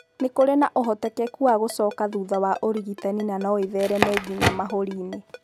Nĩ kũrĩ na ũhotekeku wa gũcoka thutha wa ũrigitani na no ĩthereme nginya mahũri-inĩ.